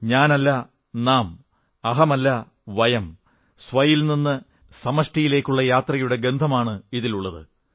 ഞാനല്ല നാം അഹം അല്ല വയം സ്വ മ്മിൽ നിന്ന് സമഷ്ടിയിലേക്കുള്ള യാത്രയുടെ ഗന്ധമാണിതിലുള്ളത്